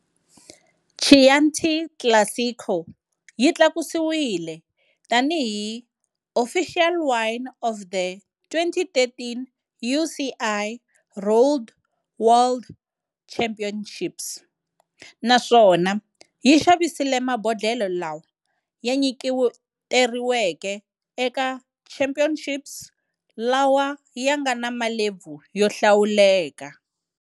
Chianti Classico yi tlakusiwile tani hi "Official wine of the 2013 UCI Road World Championships" naswona yi xavise mabodlhela lawa ya nyiketeriweke eka Championships lawa yanga na malebvu yo hlawuleka.